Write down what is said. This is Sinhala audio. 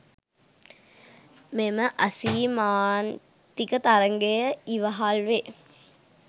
මෙම අසීමාන්තික තරඟය ඉවහල් වේ